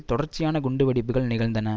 தொடர்ச்சியான குண்டுவெடிப்புகள் நிகழ்ந்தன